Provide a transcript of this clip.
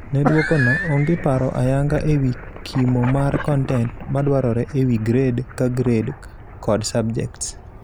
Ne duoko no, onge paro ayanga ewii kimo mar kontent madwarore ewi grade ka grade kod subjects.